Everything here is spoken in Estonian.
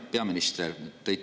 Hea peaminister!